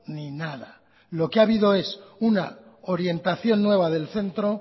ni nada lo que ha habido es una orientación nueva del centro